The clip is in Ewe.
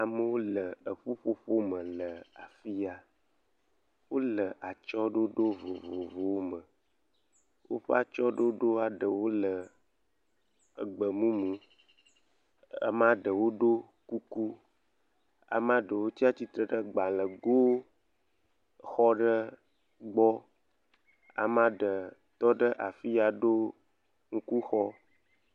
Amewo le ƒuƒoƒo me le afiya. Wòle atsyɔe ɖoɖo vovovowo me. Wòƒe atsyɔe ɖoɖoa eɖe wole gbemumu. Amea ɖewo fɔ kuku, ɖewo tsia tsitre ɖe gbalẽ go xɔ ɖe gbɔ. Amea ɖe tɔ ɖe afi dɔ suku xɔ.